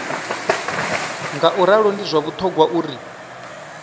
ngauralo ndi zwa vhuṱhogwa uri